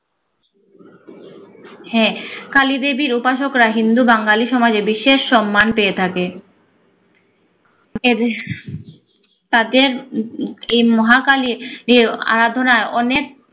হ্যা কালিদেবীর উপাসকরা হিন্দু বাঙালি সমাজে বিশেষ সম্মান পেয়ে থাকে । তাদের এই মহাকালির যে আরাধনা অনেক